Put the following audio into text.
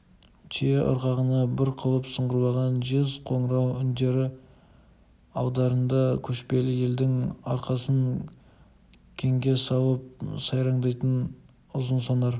түйе ырғағына бір қалып сыңғырлаған жез қоңырау үндері алдарында көшпелі елдің арқасын кеңге салып сайраңдайтын ұзынсонар